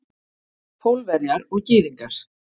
Pólverjar og Gyðingar.